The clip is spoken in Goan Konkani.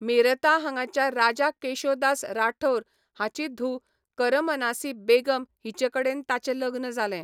मेरता हांगाच्या राजा केशो दास राठौर हाची धूव करमनासी बेगम हिचेकडेन ताचें लग्न जालें.